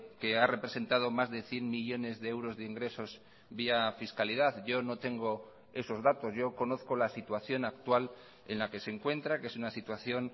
que ha representado más de cien millónes de euros de ingresos vía fiscalidad yo no tengo esos datos yo conozco la situación actual en la que se encuentra que es una situación